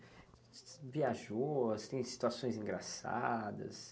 viajou, você tem situações engraçadas.